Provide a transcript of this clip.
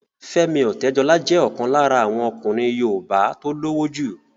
Fẹ́mi Ọ̀tẹ́dọlá jẹ́ ọ̀kan lára àwọn ọkùnrin yoòbá tó lówó jù